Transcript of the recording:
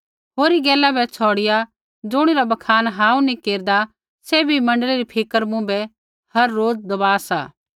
होरी गैला बै छ़ौड़िआ ज़ुणिरा बखान हांऊँ नी केरदा सैभी मण्डली री फिक्र मुँभै हर रोज दबा सा